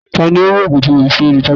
Ta ni ó mú ògùn tí mo fi sí orí tábìlì?